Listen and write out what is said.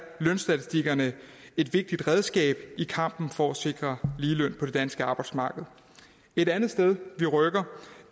lønstatistikkerne et vigtigt redskab i kampen for at sikre ligeløn på det danske arbejdsmarked et andet sted vi rykker